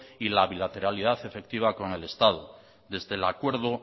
y la bilateralidad efectiva con el estado desde el acuerdo